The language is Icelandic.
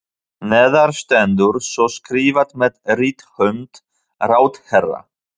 Neðar stendur svo skrifað með rithönd ráðherra